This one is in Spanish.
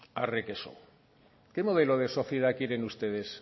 arre que so qué modelo de sociedad quieren ustedes